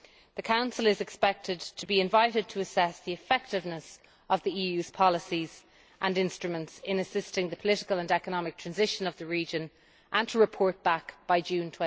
The Council is expected to be invited to assess the effectiveness of the EU's policies and instruments in assisting the political and economic transition of the region, and to report back by June